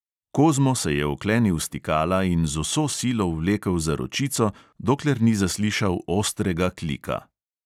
Kozmo se je oklenil stikala in z vso silo vlekel za ročico, dokler ni zaslišal ostrega klika.